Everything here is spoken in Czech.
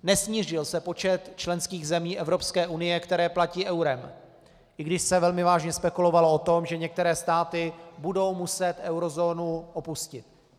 Nesnížil se počet členských zemí Evropské unie, které platí eurem, i když se velmi vážně spekulovalo o tom, že některé státy budou muset eurozónu opustit.